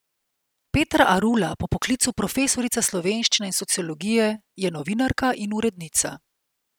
Petra Arula, po poklicu profesorica slovenščine in sociologije, je novinarka in urednica.